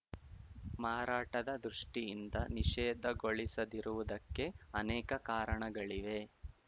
ಮಾರಾಟದ ದೃಷ್ಟಿಯಿಂದ ನಿಷೇಧಗೊಳಿಸದಿರುವುದಕ್ಕೆ ಅನೇಕ ಕಾರಣಗಳಿವೆ